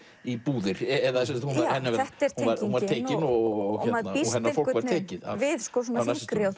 í búðir þetta er tengingin og maður býst við þyngri